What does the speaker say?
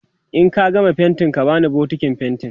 in ka gama faintin ka bani bukitin faintin